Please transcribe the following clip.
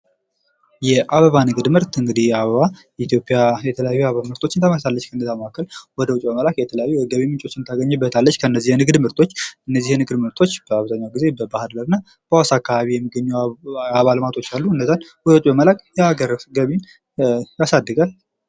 የአበባ ንግድ ምርት እንግዲህ አበባ ኢትዮጵያ የተለያዩ የአበባ ምርቶችን ታመርታለች ከነዛ መካከል ወደ ውጭ በመላክ የተለያዩ የገቢ ምንጮችን ታገኝበታለች ከነዚህ የንግድ ምርቶች በአብዛኛው ጊዜ በባህር ዳር እና በሀዋሳ አካባቢ የሚገኙ የአበባ ልማቶች አሉ እነዛን ወደ ውጭ በመላክ የሀገር ገቢን ያሳድጋል ።